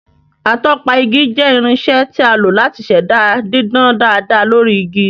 Atọpa igi jẹ́ irinṣẹ́ tí a lò láti ṣẹ̀dá dídán dáadáa lórí igi